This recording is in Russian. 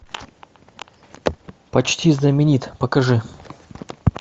почти знаменит покажи